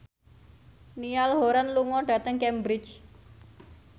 Niall Horran lunga dhateng Cambridge